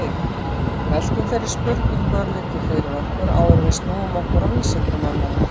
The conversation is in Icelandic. veltum þeirri spurningu örlítið fyrir okkur áður en við snúum okkur að vísindamönnunum